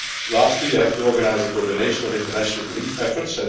Lastly, we have to organise the coordination of international relief efforts.